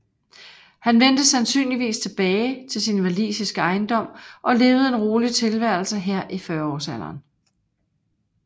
Han vendte sandsynligvis tilbage til sin walisiske ejendom og levede en rolig tilværelse her i fyrreårsalderen